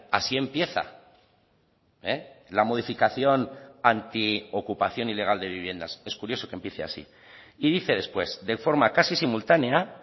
así empieza la modificación anti ocupación ilegal de viviendas es curioso que empiece así y dice después de forma casi simultánea